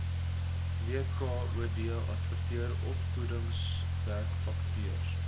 wkod adverteer opvoedersvakatures